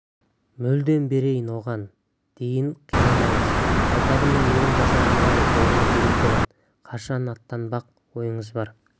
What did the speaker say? мүлдем берейін оған дейін қинамаңыз байтабынның менің жасағымдағы орны бөлек болады қашан аттанбақ ойыңыз бар